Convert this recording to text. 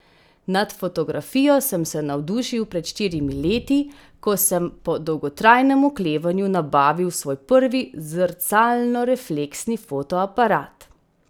Nad fotografijo sem se navdušil pred štirimi leti, ko sem po dolgotrajnem oklevanju nabavil svoj prvi zrcalnorefleksni fotoaparat.